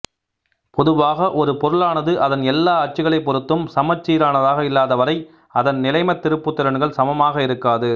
பொதுவாக ஒரு பொருளானது அதன் எல்லா அச்சுக்களைப் பொறுத்தும் சமச்சீரானதாக இல்லாத வரை அதன் நிலைமத் திருப்புத்திறன்கள் சமமாக இருக்காது